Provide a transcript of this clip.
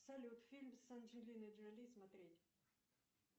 салют фильм с анджелиной джоли смотреть